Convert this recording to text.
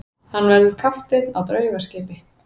Hann verður kapteinn á draugaskipi.